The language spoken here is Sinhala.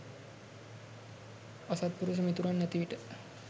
අසත්පුරුෂ මිතුරන් නැති විට